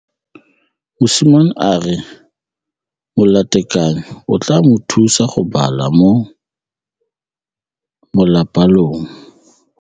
Mosimane a re molatekanyô o tla mo thusa go bala mo molapalong.